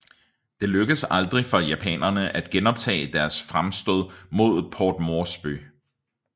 Det lykkedes aldrig for japanerne at genoptage deres fremstød mod Port Moresby